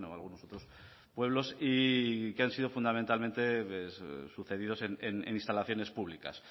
algunos otros pueblos y que han sido fundamentalmente sucedidos en instalaciones públicas